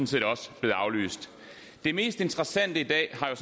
set også blevet aflyst det mest interessante i dag